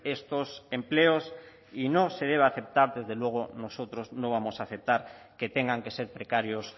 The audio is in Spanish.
estos empleos y no se debe aceptar desde luego nosotros no vamos a aceptar que tengan que ser precarios